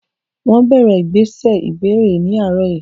Wọ́n bẹ̀rẹ̀ ìgbésẹ̀ ìbẹ̀rẹ̀ ní àárọ̀ yìí.